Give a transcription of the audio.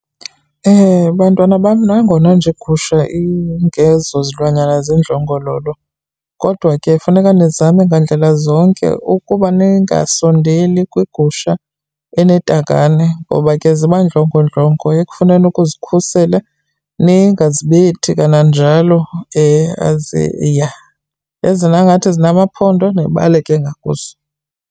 Bantwana bam, nangona nje iigusha ingezozilwanyana zindlongololo, kodwa ke funeka nizame ngandlela zonke ukuba ningasondeli kwigusha enetakane ngoba ke ziba ndlongondlongo ekufuneni ukuzikhusela. Ningazibethi kananjalo , Ya. Ezona ke ingathi zinamaphondo nibaleke ngakuzo.